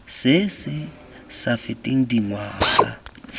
se se sa feteng dingwaga